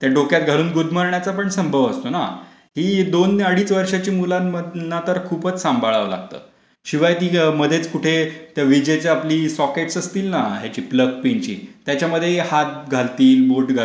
त्या डोक्यात घालून गुदमरण्याचा पण संभव असतो ना. ही दोन अडीज वर्षांची मुलांना तर खूपच सांभाळावं लागतं. शिवाय ती मध्येच कुठे त्या विजेच्या आपली सोकेट्स असतील ना ह्याची प्लग पिन ची त्याच्यामध्येही हात घालतील. बोट